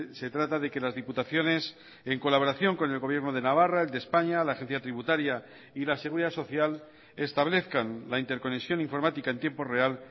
se trata de que las diputaciones en colaboración con el gobierno de navarra el de españa la agencia tributaria y la seguridad social establezcan la interconexión informática en tiempo real